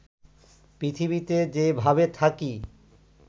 পৃথিবীতে যে ভাবে থাকি